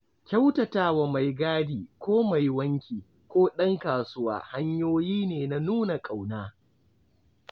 Kyautata wa maigadi ko mai wanki ko ɗan kasuwa hanyoyi ne na nuna ƙauna.